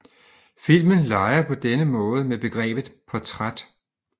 Filmen leger på denne måde med begrebet portræt